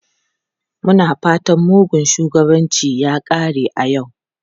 Muna fatan mugun shugabanci ya kare a yau.